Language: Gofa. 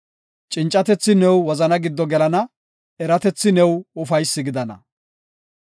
Cincatethi ne wozana giddo gelana; eratethi new ufaysi gidana.